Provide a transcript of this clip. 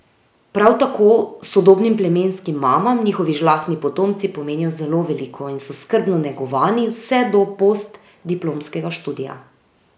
Prav tako sodobnim plemenskim mamam njihovi žlahtni potomci pomenijo zelo veliko in so skrbno negovani vse do postdiplomskega študija.